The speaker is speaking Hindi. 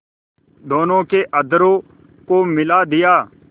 दोनों के अधरों को मिला दिया